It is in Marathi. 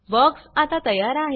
बॉक्स आता तयार आहे